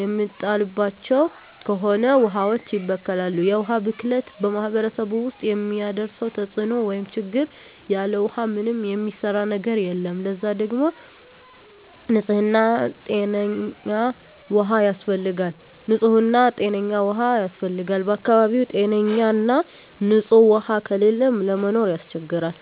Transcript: የሚጣልባቸው ከሆነ ውሀዋች ይበከላሉ። የውሀ ብክለት በማህረሰቡ ውስጥ የሚያደርሰው ተጽዕኖ (ችግር) ያለ ውሃ ምንም የሚሰራ ነገር የለም ለዛ ደግሞ ንጽህና ጤነኛ ውሃ ያስፈልጋል በአካባቢው ጤነኛ ና ንጽህ ውሃ ከሌለ ለመኖር ያስቸግራል።